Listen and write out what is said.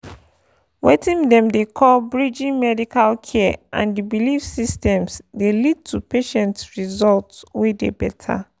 weting dem dey call pause— bridging pause medical care and the belief systems dey lead to patient results wey dey better.